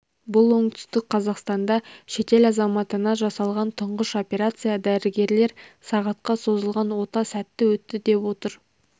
бұл оңтүстік қазақстанда шетел азаматына жасалған тұңғыш операция дәрігерлер сағатқа созылған ота сәтті өтті деп отыр